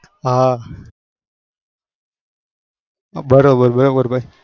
હા